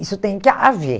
Isso tem que ha haver.